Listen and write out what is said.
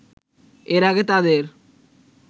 এর আগে তাদের